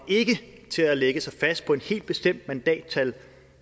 til at lægge sig fast på et helt bestemt mandattal